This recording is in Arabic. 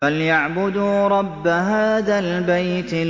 فَلْيَعْبُدُوا رَبَّ هَٰذَا الْبَيْتِ